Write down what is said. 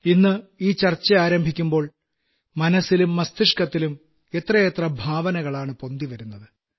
ഇന്ന് ഈ ചർച്ച ആരംഭിക്കുമ്പോൾ മനസ്സിലും മസ്തിഷക്കത്തിലും എത്രയെത്ര ഭാവനകളാണ് പൊന്തിവരുന്നത്